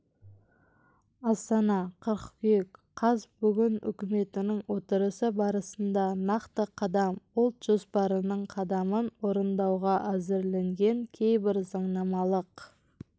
астана қыркүйек қаз бүгін үкіметінің отырысы барысында нақты қадам ұлт жоспарының қадамын орындауға әзірленген кейбір заңнамалық